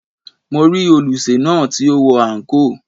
Mo rí olùsè náà tí ó wọ àǹkóò.